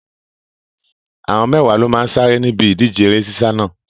Àwọn mẹ́wàá ló máa sáré níbi ìdíje eré sísá náà.